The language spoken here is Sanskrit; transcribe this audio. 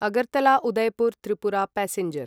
अगर्तला उदयपुर् त्रिपुरा पैसेंजर्